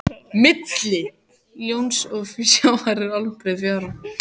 Milli lóns og sjávar er allbreið fjara.